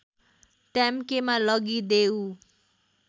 ट्याम्केमा लगिदेऊ